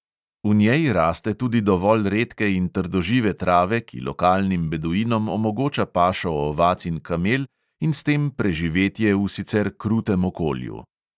V njej raste tudi dovolj redke in trdožive trave, ki lokalnim beduinom omogoča pašo ovac in kamel, in s tem preživetje v sicer krutem okolju.